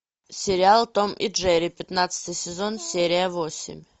сериал том и джерри пятнадцатый сезон серия восемь